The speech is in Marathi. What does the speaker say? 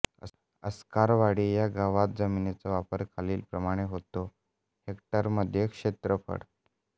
अस्कारवाडी ह्या गावात जमिनीचा वापर खालीलप्रमाणे होतो हेक्टरमध्ये क्षेत्रफळ